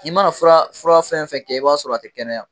I mana fura fura fɛn fɛn kɛ i b'a sɔrɔ a tɛ kɛnɛya